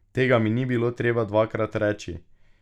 Tega mi ni bilo treba dvakrat reči!